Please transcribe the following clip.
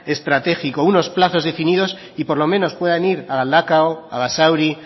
estratégico unos plazos definidos y por lo menos puedan ir a galdakao a basauri